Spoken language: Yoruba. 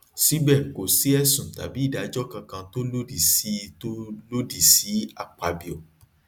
síbẹ kò sí ẹsùn tàbí ìdájọ kankan tó lòdì sí tó lòdì sí akpabio